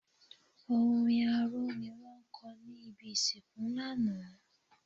Orin arò ni wọ́n kọ ní ibi ìsìnkú lánàá.